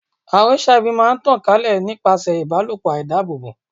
Àrùn HIV máa ń tàn ká lè nípasẹ̀ ìbálòpọ̀ àìdábòbò.